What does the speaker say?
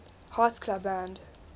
hearts club band